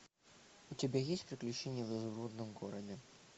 у тебя есть приключения в изумрудном городе